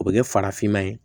O bɛ kɛ farafinma ye